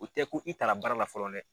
U tɛ ko i ta la baara la fɔlɔ dɛ!